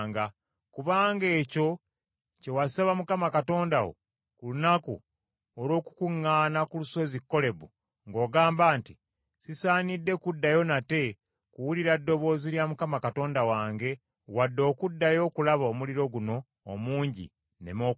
Kubanga ekyo kye wasaba Mukama Katonda wo ku lunaku olw’okukuŋŋaana ku lusozi Kolebu ng’ogamba nti, “Sisaanidde kuddayo nate kuwulira ddoboozi lya Mukama Katonda wange wadde okuddayo okulaba omuliro guno omungi, nneme okufa.”